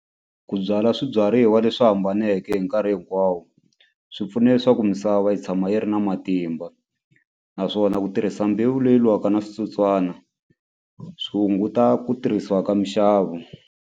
Ku byala swibyariwa leswi hambaneke hi nkarhi hinkwawo swi pfuna leswaku misava yi tshama yi ri na matimba naswona ku tirhisa mbewu leyi lwaka na switsotswana swi hunguta ku tirhisiwa ka mixavo.